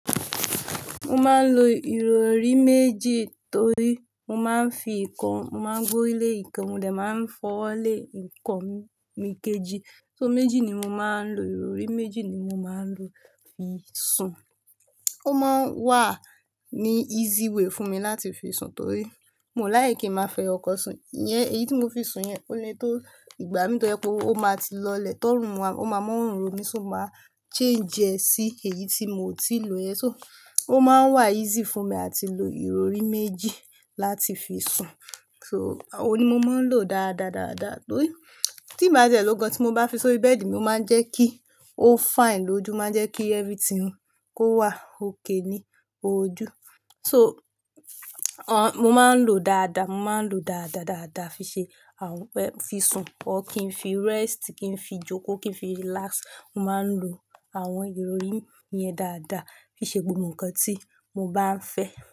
Mo máa ń lo ìrọrí méjì torí mo máa ń fi ìkan, mo máa ń gborile ìkan, mo dẹ̀ máa ń fọwọ́lé ìkan mi, ikejì. So méjì ni mo máa ń lo, ìrọrí méjì ni mo máa ń lo fi sùn. Ó máa ń wà ní easy way fún mi láti fi sùn torí mo like kí máa fẹyokan sùn. Iyẹn èyí tí mo fi sùn yẹn ó le tó ìgbà mi tó yẹ kó, ó máa ti lọlẹ̀ tọ́rùn wa, ó máa mọ́ òórùn mi, so máa change ẹ sí èyí tí mo ti lò ẹ̀. So ó máa ń wà easy fún mi láti lo ìrọrí méjì láti fi sùn. So òun ni mo máa ń lò dáadáadáà dáadáa torí tí ń bá tí ẹ lọ gan tí mo bá fi sọrí bẹ́ẹ̀dì mi, ó máa ń jẹ́ kí ó fine lójú, o máa jẹ́ kí everything kó wà okay ni ojú. So, mo máa ń lò dáadáa, mo máa ń lò dáadáadáa dáadáa fi ṣe àwọn ẹ-- fi sùn, or kí n fi rest, kí n fi jókòó, kí n fi relax. Mo máa ń lo àwọn ìrọrí yẹn dáadáa fi ṣe gbogbo nǹkan tí mo bá ń fẹ́